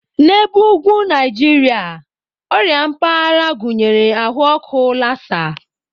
N'ebe ugwu Naijiria, ọrịa mpaghara gụnyere ahụ ọkụ Lassa.